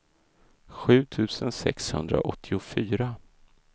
sju tusen sexhundraåttiofyra